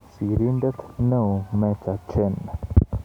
Sirindeet eoo-Meja Jen